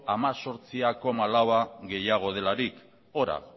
hemezortzi koma lau gehiago delarik horra